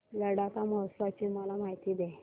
लडाख महोत्सवाची मला माहिती दे